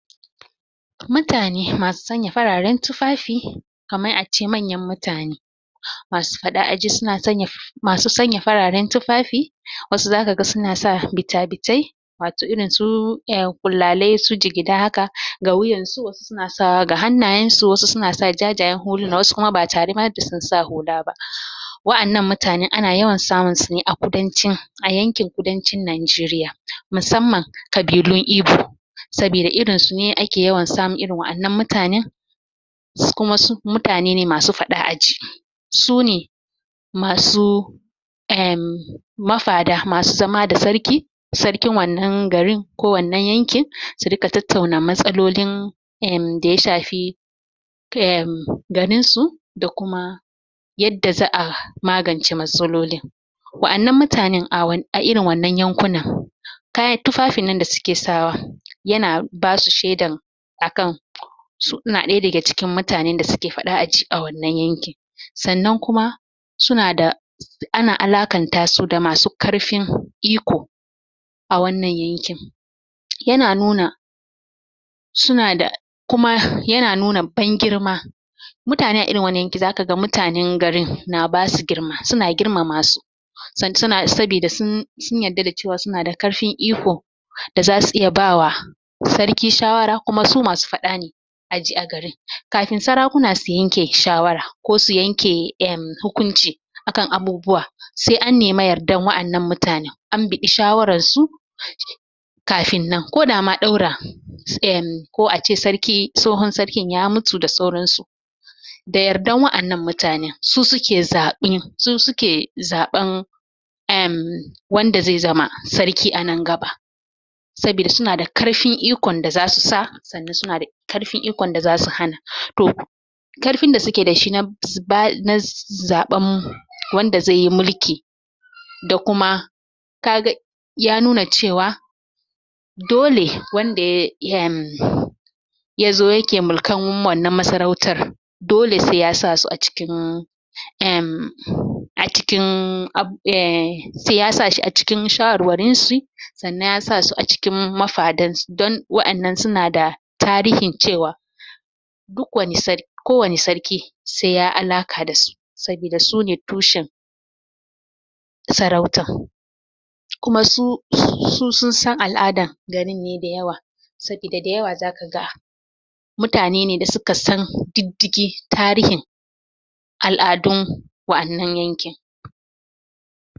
Mutane masu sanya fararen tufafi kamar ace manyan mutane masu faɗa aji suna sanya f? masu sanya fararen tufafi wasu zakaga suna sa bita-bitai wato irin su um ƙullalai, su jigida haka ga wuyansu suna sawa ga hannayensu, wasu suna sa jajayen huluna, wasu kuma batare ma da sun sa hula ba? wa'annan mutane ana yawan samun sune a kudancin a yankin kudancin Najeriya musamman ƙabilun ibo sabida irin sune ake yawan samun irin wa'annan mutanen kuma su mutane ne masu faɗa aji sune masu um mafada, masu zama da sarki sarkin wannan garin, ko wannan yankin, su riƙa tattauna matsalolin um, da ya shafi um? garinsu da kuma yadda za a magance matsalolin wa'annan mutanen a wan,a irin wannan yankunan kayan tufafin nan da suke sawa yana basu shedan akan suna ɗaya daga cikin mutanen da suke faɗa aji a wannan yankin sannan kuma suna da? ana alakanta su da masu karfin iko a wannan yankin yana nuna suna da kuma yana nuna ban girma mutane a irin wannan yankin, zakaga mutanen garin na basu girma. Suna girmama su san suna sabida sun sun yarda da cewa suna da karfin iko da zasu iya bawa sarki shawara, kuma su masu faɗa ne aji a garin kafin sarakuna su yanke shawara ko su yanke um hukunci akan abubuwa se an nema yardan wa'annan mutanen an biɗi shawarar su? kafin nan, ko da ma ɗaura um ko ace sarki, tsohon sarkin ya mutu da sauran su da yardan wa'annan mutanen, su suke zaɓin, su suke zaɓan um wanda zai zama sarki anan gaba sabida suna da karfin ikon da zasu sa sannan suna da karfin ikon da zasu hana. To, karfin da suke dashi na? ba?na ?zaɓan wanda zaiyi mulki da kuma kaga ya nuna cewa dole wanda ya um yazo yake mulkan wannan masarautan dole sai yasa su a cikin um? a cikin ab, um, sai ya sasu a cikin shawarwarin shi sannan yasa su a cikin mafadan s? don wa'annan sunada tarihin cewa duk wani sar ko wanni sarki sai ya alaka dasu sabida sune tushen sarautan kuma su su sun san al'adan garin ne da yawa sabida da yawa zakaga mutane ne da suka san diddigin tarihin al'adun wa'annan yankin.